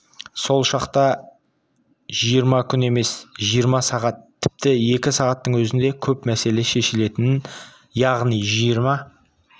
сол шақта жиырма күн емес жиырма сағат тіпті екі сағаттың өзінде көп мәселе шешілетін яғни жиырма